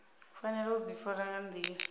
fanela u ḓifara nga nḓila